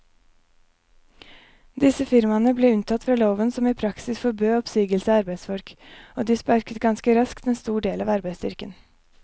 Disse firmaene ble unntatt fra loven som i praksis forbød oppsigelse av arbeidsfolk, og de sparket ganske raskt en stor del av arbeidsstyrken.